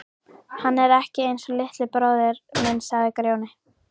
Hann er ekki einsog litli bróðir minn, sagði Grjóni.